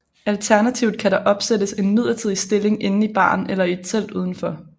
Alternativt kan der opsættes en midlertidig stilling inde i baren eller i et telt udenfor